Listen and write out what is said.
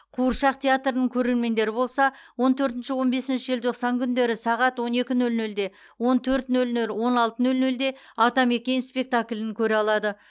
қуыршақ театрының көрермендері болса он төртінші он бесінші желтоқсан күндері сағат он екі нөл нөлде он төрт нөл нөл он алты нөл нөлде атамекен спектаклін көре алады